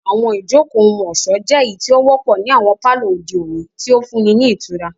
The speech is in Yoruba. Àwọn ijoko ohun-ọṣọ jẹ eyiti o wọpọ ni awọn palọ ode oni, ti o funni ni itura.